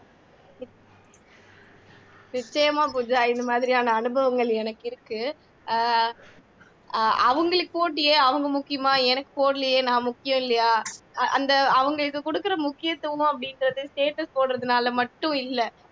நிச்சயமா பூஜா இந்தமாதிரியான அனுபவங்கள் எனக்கு இருக்கு அஹ் அஹ் அவங்களுக்கு போட்டியே அவங்க முக்கியமா எனக்கு போடலையே நான் முக்கியம் இல்லையா அந்த அவங்க இது குடுக்குற முக்கியத்துவம் அப்படின்றது status போடுறதுனால மட்டும் இல்லை